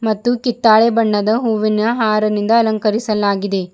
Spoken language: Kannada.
ಮತ್ತು ಕಿತ್ತಾಳೆ ಬಣ್ಣದ ಹೂವಿನ ಹಾರನಿಂದ ಅಲಂಕರಿಸಲಾಗಿದೆ.